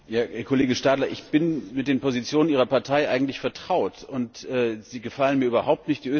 Kollege Stadler, ich bin mit den Positionen Ihrer Partei eigentlich vertraut, und sie gefallen mir überhaupt nicht.